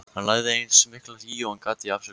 Hann lagði eins mikla hlýju og hann gat í afsökunina.